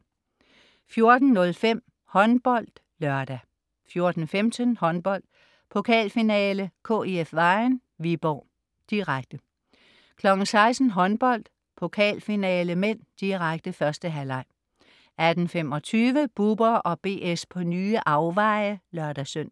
14.05 HåndboldLørdag 14.15 Håndbold: Pokalfinale - KIF Vejen-Viborg (k), direkte 16.00 Håndbold: Pokalfinale (m), direkte. 1. halvleg 18.25 Bubber & BS på nye afveje (lør-søn)